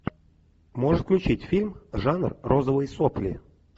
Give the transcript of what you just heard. можешь включить фильм жанр розовые сопли